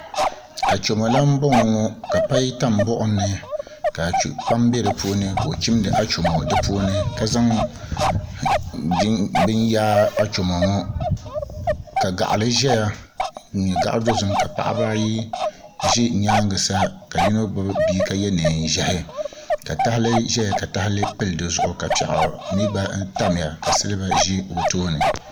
Achomo lan n boŋo ŋo ka pai tam buɣum ni ka kpam bɛ di puuni ka o chimdi achomo di puuni ka zaŋ bini yaai achomo ŋo ka gaɣali ʒɛya n nyɛ gaɣa dozim ka paɣaba ayo ʒi nyaanga sa ka yino gbubi bihi ka yɛ neen ʒiɛhi ka tahali ʒɛya ka tahali pili di zuɣu ka piɛɣu mii gba tamya ka silba ʒi o tooni